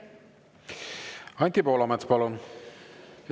Anti Poolamets, palun!